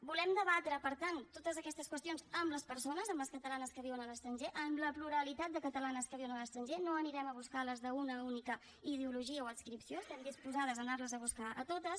volem debatre per tant totes aquestes qüestions amb les persones amb les catalanes que viuen a l’estranger amb la pluralitat de catalanes que viuen a l’estranger no anirem a buscar les d’una única ideologia o adscripció estem disposades a anar les a buscar a totes